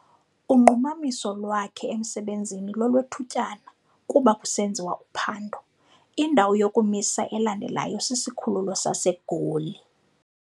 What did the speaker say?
Unqumamiso lwakhe emsebenzini lolwethutyana kuba kusenziwa uphando. indawo yokumisa elandelayo sisikhululo saseGoli